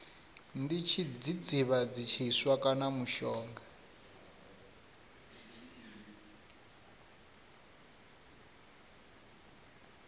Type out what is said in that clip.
ndi tshidzidzivhadzi tshiswa kana mushonga